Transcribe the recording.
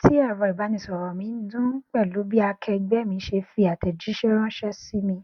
ti ẹrọ ibanisọrọ mi n dun pẹlu bi akẹẹgbẹ mi ṣe fi atẹjiṣẹ ranṣẹ si mi